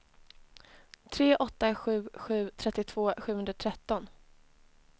tre åtta sju sju trettiotvå sjuhundratretton